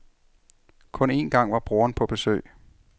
Kun en gang var broderen på besøg.